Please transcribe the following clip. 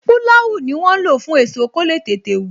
Pulau ni wọn ń lo fún èso, kó le tètè wù